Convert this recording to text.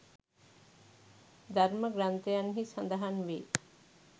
ධර්ම ග්‍රන්ථයන්හි සඳහන් වේ.